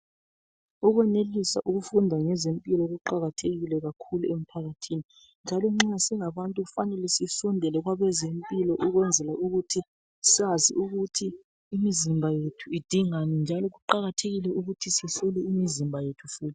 Ukwenelisa ukufunda ngezempilo kuqakathekile emphakathini njalo nxa singabantu kufanele sisondele kwabezempilo ukwenzela ukuthi sazi ukuthi imizimba yethu idingani njalo kuqakathekile ukuthi sihlole imizimba yethu.